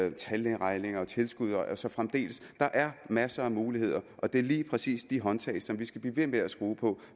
om tandlægeregninger og tilskud og så fremdeles der er masser af muligheder og det er lige præcis de håndtag som vi skal blive ved med at skrue på